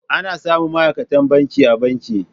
Ana samun ma'aikatan banki a banki.